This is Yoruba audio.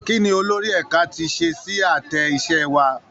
Kí ni olórí ẹ̀ka ti ṣe sí àtẹ iṣẹ́ wa?